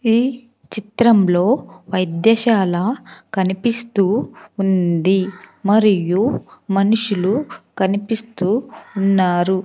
ఈ చిత్రంలో వైద్యశాల కనిపిస్తూ ఉంది మరియు మనుషులు కనిపిస్తూ ఉన్నారు.